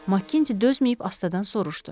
Makkinti dözməyib astadan soruşdu.